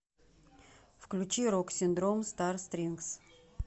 включи рок синдром стар стрингс